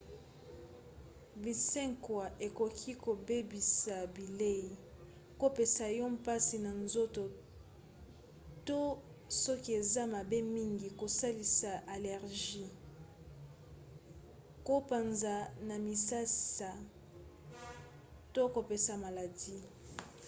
binsekwa ekoki kobebisa bilei kopesa yo mpasi na nzoto to soki eza mabe mingi kosalisa allergie kopanza na misisa to kopesa maladi